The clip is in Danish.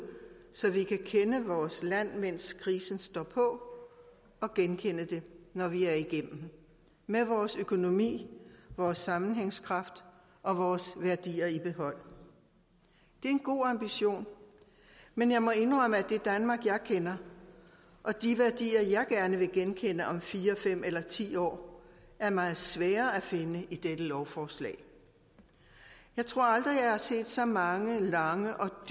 så vi kan kende vores land mens krisen står på og genkende det når vi er igennem med vores økonomi vores sammenhængskraft og vores værdier i behold det er en god ambition men jeg må indrømme at det danmark jeg kender og de værdier jeg gerne vil genkende om fire fem eller ti år er meget svære at finde i dette lovforslag jeg tror aldrig jeg har set så mange lange og